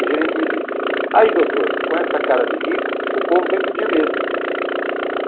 O gerente me disse, aí doutor, com essa cara de rico, o povo vem pedir mesmo.